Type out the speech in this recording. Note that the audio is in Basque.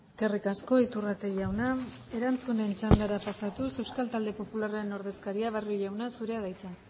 eskerrik asko iturrate jauna erantzunen txandara pasatuz euskal talde popularraren ordezkaria barrio jauna zurea da hitza